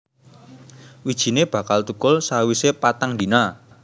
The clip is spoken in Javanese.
Wijine bakal thukul sawise patang dina